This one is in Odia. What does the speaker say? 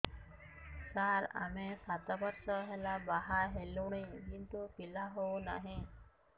ସାର ଆମେ ସାତ ବର୍ଷ ହେଲା ବାହା ହେଲୁଣି କିନ୍ତୁ ପିଲା ହେଉନାହିଁ